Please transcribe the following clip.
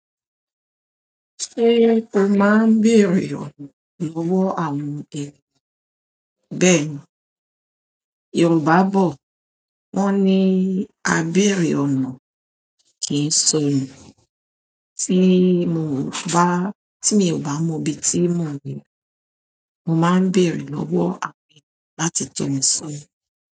Ṣé o máa ń bèèrè ọ̀nà lọ́wọ́ àwọn èrò? Bẹ́ẹ̀ni, Yorùbá bọ̀ wọ́n ní "a bèèrè ọ̀nà" kì ń sọnù. Tí mi ò bá mọ ibi tí mò n lo, mo máa ń bèèrè lọ́wọ́ àwọn èrò láti tọ̀ mí sọna.